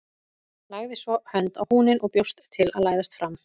Lagði svo hönd á húninn og bjóst til að læðast fram.